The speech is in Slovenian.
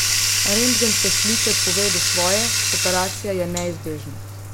Rentgenske slike povedo svoje, operacija je neizbežna.